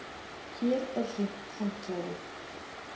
Hér er hreint handklæði.